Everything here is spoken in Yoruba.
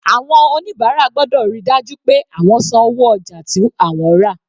Àwọn oníbàárà gbọ́dọ̀ ríi dájú pé àwọn san owó ojà tí àwọn rà.